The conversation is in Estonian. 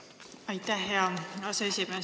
Aitäh, hea aseesimees!